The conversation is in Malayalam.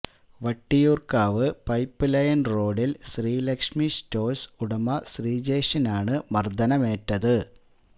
വട്ടിയൂര്ക്കാവ് പൈപ്പ് ലൈൻ റോഡിൽ ശ്രീലക്ഷ്മി സറ്റോഴ്സ് ഉടമ ശ്രീജേഷിനാണ് മർദ്ദനമേറ്റത്